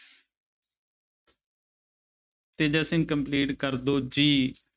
Teja Singh complete ਕਰ ਦਓ ਜੀ।